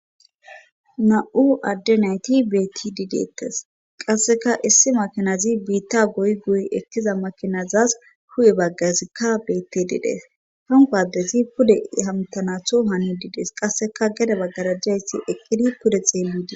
nam'u adde nayti betidii deettes qasseka issi makinazi biitta goy goy ekkiza makinazas hu'e baggazikka bettididees hanqo adezi pude hamtanatho hannidides qasseka gede baggarajayssi eqqidi pude xeelidi